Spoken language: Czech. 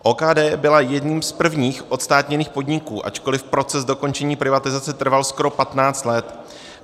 OKD byly jedním z prvních odstátněných podniků, ačkoliv proces dokončení privatizace trval skoro 15 let.